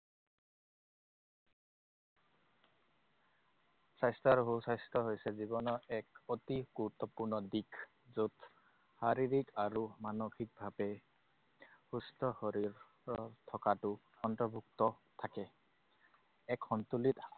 স্বাস্থ্য আৰু সুস্বাস্থ্য হৈছে জীৱনৰ এক অতি গুৰুত্বপূৰ্ণ দিশ। য'ত শাৰীৰিক আৰু মানসিকভাৱে সুস্থ শৰীৰ থকাটো অন্তৰ্ভুক্ত থাকে। এক সন্তুলিত